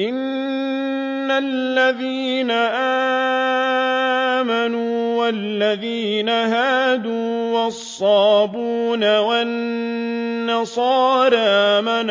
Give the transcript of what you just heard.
إِنَّ الَّذِينَ آمَنُوا وَالَّذِينَ هَادُوا وَالصَّابِئُونَ وَالنَّصَارَىٰ مَنْ